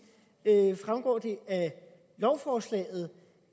fremgår det af lovforslaget